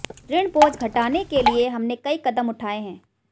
ऋण बोझ घटाने के लिए हमने कई कदम उठाए हैं